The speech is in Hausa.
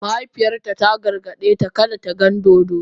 Mahaifiyarta ta gargaɗe ta kada ta gan dodo.